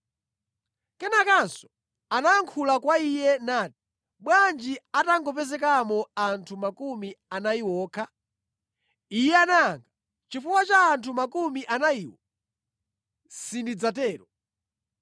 Kenakanso anayankhula kwa Iye nati, “Bwanji atangopezekamo anthu 40 okha?” Iye anayankha, “Chifukwa cha anthu 40 amenewa, sindidzatero.”